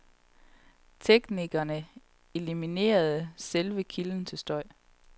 Teknikerne eliminerede selve kilden til støj.